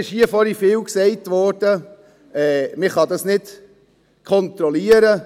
Vorhin wurde hier oft gesagt, man könne das nicht kontrollieren.